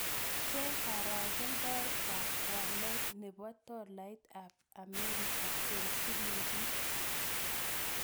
Cheng karagendoetap walet ne po tolaitap Amerika eng' silingit